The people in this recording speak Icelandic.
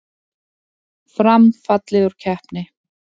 Fram fallið úr keppni